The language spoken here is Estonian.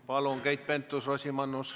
Palun, Keit Pentus-Rosimannus!